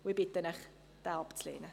Ich bitte Sie, diesen abzulehnen.